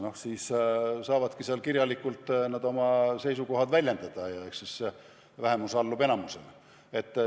Nad saavad kirjalikult oma seisukohad väljendada ja vähemus allub enamusele.